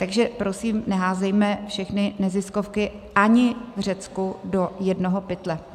Takže prosím, neházejme všechny neziskovky ani v Řecku do jednoho pytle.